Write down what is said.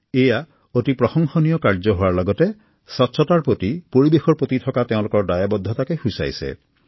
এয়া অতি প্ৰশংসনীয় কাৰ্য হোৱাৰ লগতে পৰিৱেশৰ প্ৰতি থকা তেওঁলোকৰ দায়বদ্ধতাকে সূচাইছে